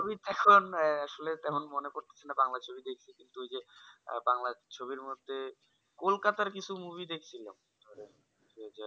আসলে তেমন মনে পড়তাছেনা বাংলা ছবি দেখিনি ওই যে বাংলা ছবির মধ্যে কলকাতার কিছু movie দেখছিলাম